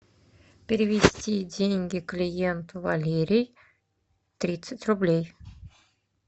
перевести деньги клиенту валерий тридцать рублей